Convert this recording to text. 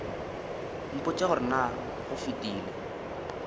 mpotše gore na go fetile